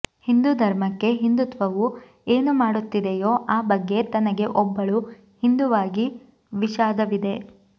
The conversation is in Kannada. ಹಿಂದೂ ಧರ್ಮಕ್ಕೆ ಹಿಂದುತ್ವವು ಏನು ಮಾಡುತ್ತಿದೆಯೋ ಆ ಬಗ್ಗೆ ತನಗೆ ಒಬ್ಬಳು ಹಿಂದೂವಾಗಿ ವಿಷಾದವಿದೆ